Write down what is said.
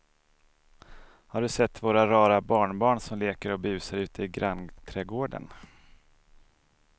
Har du sett våra rara barnbarn som leker och busar ute i grannträdgården!